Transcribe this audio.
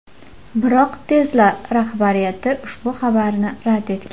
Biroq Tesla rahbariyati ushbu xabarni rad etgan.